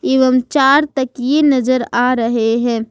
एवं चार तकिए नजर आ रहे हैं।